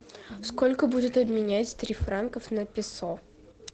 сколько будет обменять три франков на песо